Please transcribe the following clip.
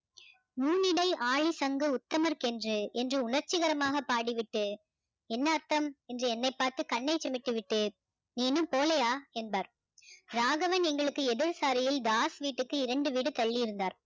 முன்னிடை ஆயுள் சங்க உத்தமர் என்று உணர்ச்சிகரமாக பாடிவிட்டு என்ன அர்த்தம் என்று என்னை பார்த்து கண்ணை சிமிட்டி விட்டு நீ இன்னும் போலையா என்பார் ராகவன் எங்களுக்கு எதிர் சாலையில் தாஸ் வீட்டுக்கு இரண்டு வீடு தள்ளி இருந்தார்